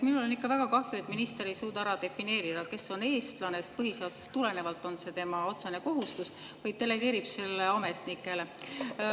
Minul on ikka väga kahju, et minister ei suuda ära defineerida, kes on eestlane – põhiseadusest tulenevalt on see tema otsene kohustus –, vaid delegeerib selle ametnikele.